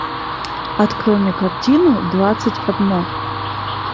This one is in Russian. открой мне картину двадцать одно